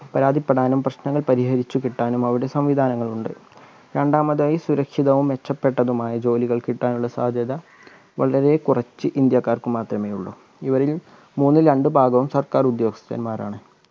പരാതിപ്പെടാനും പ്രശ്‌നങ്ങൾ പരിഹരിച്ചു കിട്ടാനും അവിടെ സംവിധാനങ്ങൾ ഉണ്ട് രണ്ടാമതായി സുരക്ഷിതവും മെച്ചപ്പെട്ടതുമായ ജോലികൾ കിട്ടാനുള്ള സാധ്യത വളരെ കുറച്ച് ഇന്ത്യക്കാർക്ക് മാത്രമെ ഉള്ളു ഇവരിൽ മൂന്നിൽ രണ്ട് ഭാഗവും സർക്കാർ ഉദ്യോദസ്ഥന്മാരാണ്